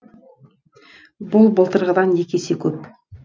бұл былтырғыдан екі есе көп